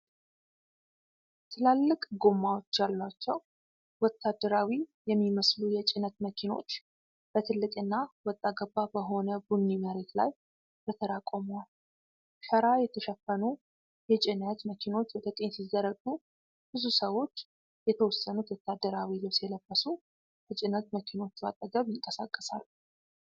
ትላልቅ ጎማዎች ያሏቸው ወታደራዊ የሚመስሉ የጭነት መኪኖች በትልቁና ወጣ ገባ በሆነ ቡኒ መሬት ላይ በተራ ቆመዋል። ሸራ የተሸፈኑ የጭነት መኪኖች ወደ ቀኝ ሲዘረጉ፣ ብዙ ሰዎች፣ የተወሰኑት ወታደራዊ ልብስ የለበሱ፣ ከጭነት መኪኖቹ አጠገብ ይንቀሳቀሳሉ።